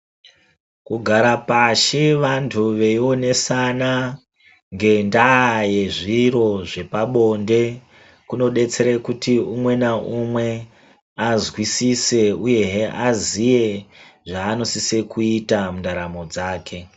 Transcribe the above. Kugara pashi vantu veionesana ngenda yezviro zvepabonde kunodetsere kuti umwe ngaumwe azwisise uyehe aziye zvaanosise kuita mundaramo dzake.